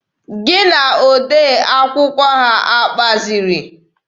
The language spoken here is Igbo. Gị na odee akwụkwọ ha akpaziri?